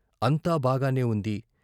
అంతా బాగానే ఉంది